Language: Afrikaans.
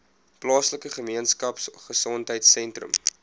plaaslike gemeenskapgesondheid sentrum